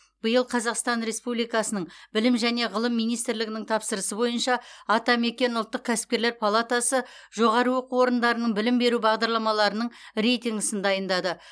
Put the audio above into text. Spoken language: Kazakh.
биыл қазақстан республикасының білім және ғылым министрлігінің тапсырысы бойынша атамекен ұлттық кәсіпкерлер палатасы жоғары оқу орындарының білім беру бағдарламаларының рейтингісін дайындады